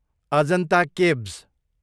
Ajanta caves